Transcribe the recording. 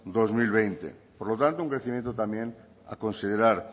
dos mil veinte por lo tanto un crecimiento también a considerar